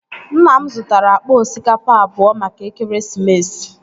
Nna m zutara akpa osikapa abụọ maka ekeresimesi